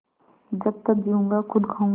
जब तक जीऊँगा खुद खाऊँगा